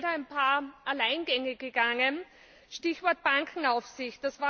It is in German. Der ist leider ein paar Alleingänge gegangen, Stichwort Bankenaufsicht.